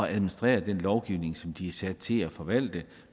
administrere den lovgivning som de er sat til at forvalte